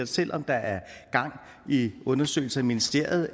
selv om der er gang i undersøgelser i ministeriet